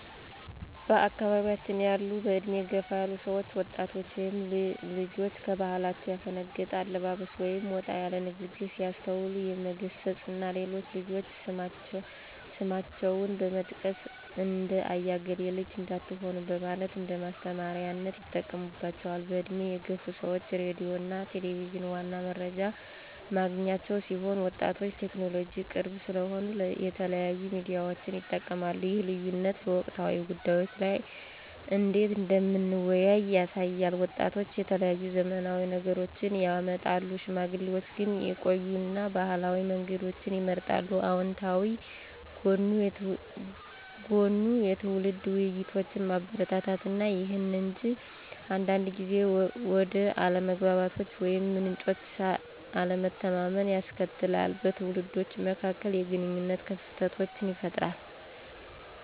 በአካባያችን ያሉ በእድሜ የገፉ ሰዎች ወጣቶች ወይም ልጆች ከባህላቸው ያፈነገጠ አለባበስ ወይም ወጣ ያሉ ንግሮች ሲያስተውሉ የመገሰፅ እና ለሌሎች ልጆች ስማቸውን በመጥቀስ ''እንደ አያ እገሌ ልጅ '' እንዳትሆኑ በማለት እንደማስተማሪያነት ይጠቀሙባቸዋል። በእድሜ የገፉ ሰዎች ሬዲዮ እና ቴሌቪዠን ዋና መረጃ ማግኛቸው ሲሆን ወጣቶች ለቴክኖሎጂ ቅርብ ስለሆኑ የተለያዩ ሚዲያዎችን ይጠቀማሉ ይህ ልዩነት በወቅታዊ ጉዳዮች ላይ እንዴት እንደምንወያይ ያሳያል። ወጣቶች የተለያዩ ዘመናዊ ነገሮችን ያመጣሉ፣ ሽማግሌዎች ግን የቆዩ እና ባህላዊ መንገዶችን ይመርጣሉ። አወንታዊ ጎኑ የትውልድ ውይይቶችን ማበረታታት ነው። ይሁን እንጂ አንዳንድ ጊዜ ወደ አለመግባባቶች ወይም ምንጮች አለመተማመንን ያስከትላል, በትውልዶች መካከል የግንኙነት ክፍተቶችን ይፈጥራል።